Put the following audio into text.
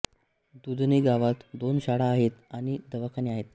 दुधनी गावात दोन शाळा आहेत आणि दवाखाने आहेत